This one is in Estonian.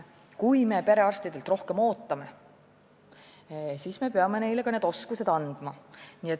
Kui me perearstidelt rohkem ootame, siis me peame neile ka need oskused andma.